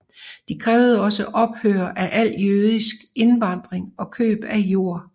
De krævede også ophør af al jødisk indvandring og køb af jord